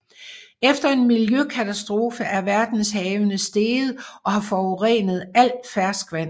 Efter en miljøkatastrofe er verdenshavene steget og har forurenet al ferskvand